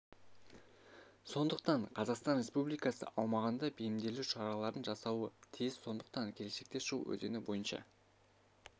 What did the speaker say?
сондықтан қазақстан республикасы аумағында бейімделу шараларын жасауы тиіс сондықтан келешекте шу өзені бойынша